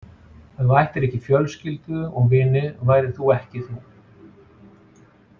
Ef þú ættir ekki fjölskyldu og vini værir þú ekki þú.